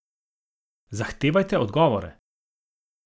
Zahtevajte odgovore.